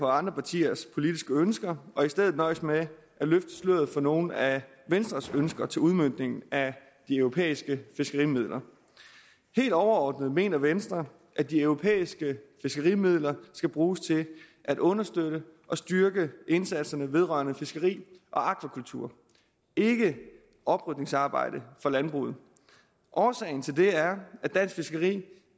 andre partiers politiske ønsker og i stedet for nøjes med at løfte sløret for nogle af venstres ønsker til udmøntningen af de europæiske fiskerimidler helt overordnet mener venstre at de europæiske fiskerimidler skal bruges til at understøtte og styrke indsatsen vedrørende fiskeri og akvakultur ikke oprydningsarbejde for landbruget årsagen til det er at dansk fiskeri